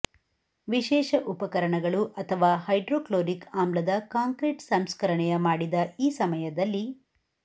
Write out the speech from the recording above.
ವಿಶೇಷ ಉಪಕರಣಗಳು ಅಥವಾ ಹೈಡ್ರೋಕ್ಲೋರಿಕ್ ಆಮ್ಲದ ಕಾಂಕ್ರೀಟ್ ಸಂಸ್ಕರಣೆಯ ಮಾಡಿದ ಈ ಸಮಯದಲ್ಲಿ